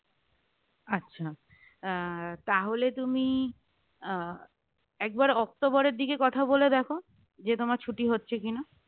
আচ্ছা আহ তাহলে তুমি আহ একবার অক্টোবরের দিকে কথা বলে দেখো যে তোমার ছুটি হচ্ছে কিনা?